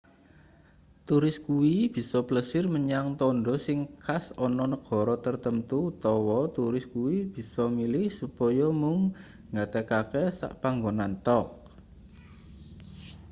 turis kuwi bisa plesir menyang tandha sing khas ana negara tartamtu utawa turis kuwi bisa milih supaya mung nggatekake sak panggonan thok